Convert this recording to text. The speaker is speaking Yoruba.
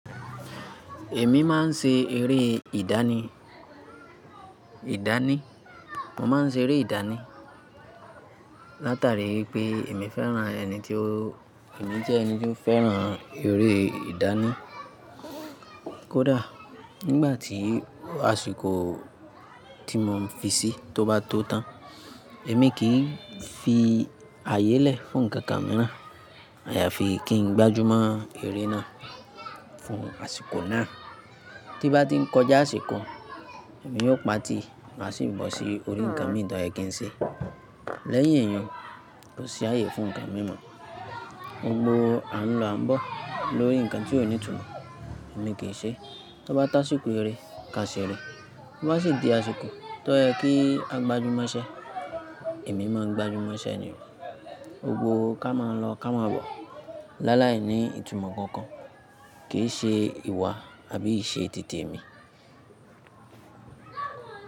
Èmi máa ń ṣe eré ìdánì, ìdánì. Mo máa ń ṣe eré ìdánì. Látàrí pé èmi fẹ́ràn ẹni tí o-- èmi jẹ́ ẹni tí ó fẹ́ràn eré ìdánì. Kódà nígbà tí àsìkò tí mo fi sí tó bá tó tán, èmi kì í fi ààyè lẹ̀ fún nǹkan kan míràn. Àyàfi kí n gbájú mọ́ eré náà fún àsìkò náà. Tí bá ti ń kọjá àsìkò, èmi yóò pati máa sì bọ́ sí orí ǹkan míì tó ẹ́ kín ṣe. Lẹ́yìn èèyàn kò sí ààyè fún nǹkan mí mọ̀. Gbógbo a ń lọ a ń bọ̀ lórí nǹkan tí ó ní ìtumọ̀ èmi kì í ṣe. Tó bá to àsìkò eré ká ṣe rẹ̀, tó bá sì di àsìkò tó yẹ kí a gbajúmọ̀ iṣẹ́, èmi máa gbajúmọ̀ iṣẹ́ ni. Gbogbo ká máa lọ ká máa bọ̀. Láláìní ìtumọ̀ kankan kì í ṣe ìwà àbí ìṣe titi mi.